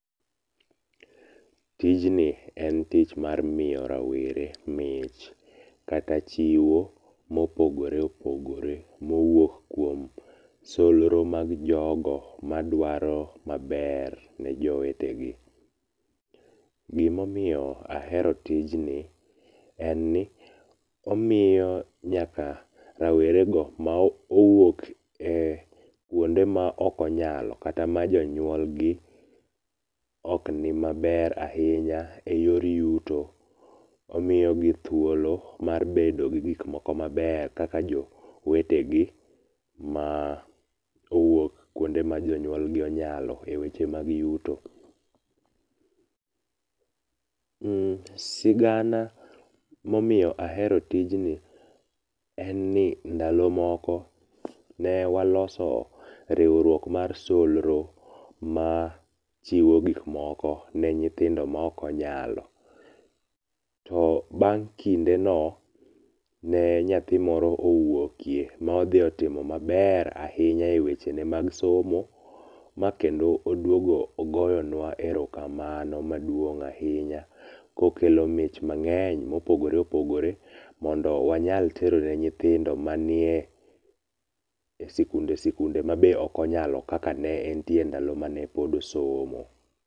Tijni en tich mar miyo rawere mich kata chiwo ma opogore opogore mowuok kuom solro mag jogo madwaro maber ni jowetegi. Gima omiyo ahero tijni, en ni omiyo nyaka rawere mowuok e kuonde maok onyalo kata majonyuol gi ok ni maber ahinya eyor yuto, omiyogi thuolo mar bedo gi gik moko maber kaka jowetegi ma owuok kuonde ma jonyulgi onyalo eweche mag yuto. Sigana momiyo ahero tijni, ndalo moko ne waloso riwruok mar solro machiwo gik moko ne nyithindo maok onyalo, bang' kindeno, ne nyathi moro owuokie, ne odhi otimo maber ahinya ewechene mag somo ma kendo oduogo ogoyonua erokamano maduong' ahinya kokelo mich mang'eny kopogore opogore mondo wanyal tero ne nyithindo manie e sikunde sikunde ma be ok onyalo kaka ne netie ndalo mane pod osomo.